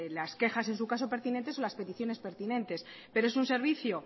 las quejas en su caso pertinentes o las peticiones pertinentes pero es un servicio